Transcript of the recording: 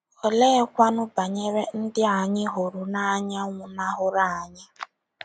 Oleekwanụ banyere ndị anyị hụrụ n’anya nwụnahụrụ anyị?